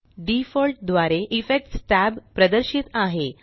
default द्वारे effects tab प्रदर्शित आहे